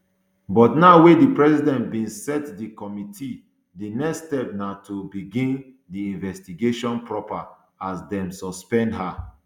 but now wey di president bin set di committee di next step na to begin di investigation proper as dem suspend her